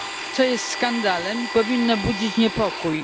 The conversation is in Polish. co jest skandalem i powinno budzić niepokój.